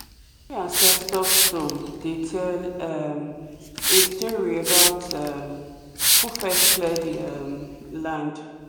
every ancestor stone dey tell um a story about um who first clear the um land.